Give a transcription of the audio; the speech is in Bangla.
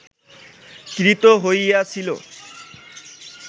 ক্রীত হইয়াছিল